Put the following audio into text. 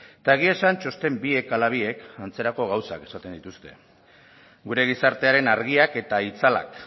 eta egia esan txosten biek ala biek antzerako gauzak esaten dituzte gure gizartearen argiak eta itzalak